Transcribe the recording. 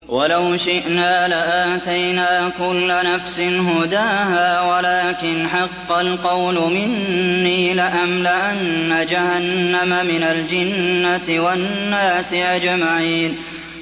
وَلَوْ شِئْنَا لَآتَيْنَا كُلَّ نَفْسٍ هُدَاهَا وَلَٰكِنْ حَقَّ الْقَوْلُ مِنِّي لَأَمْلَأَنَّ جَهَنَّمَ مِنَ الْجِنَّةِ وَالنَّاسِ أَجْمَعِينَ